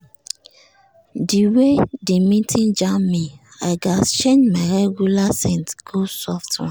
the way the meeting jam me i gatz change my regular scent go soft one.